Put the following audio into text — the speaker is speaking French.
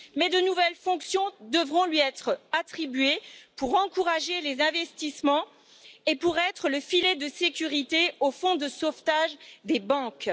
Mais de nouvelles fonctions devront lui être attribuées pour encourager les investissements et être le filet de sécurité du fonds de sauvetage des banques.